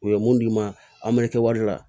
U ye mun d'i ma a mɛɛn wari la